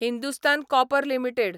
Hindustan copper limited